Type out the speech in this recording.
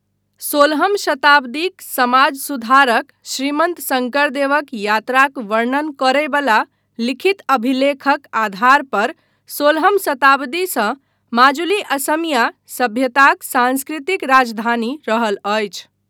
सोलहम शताब्दीक समाज सुधारक श्रीमन्त शङ्करदेवक यात्राक वर्णन करय बला लिखित अभिलेखक आधार पर सोलहम शताब्दीसँ माजुली असमिया सभ्यताक सांस्कृतिक राजधानी रहल अछि।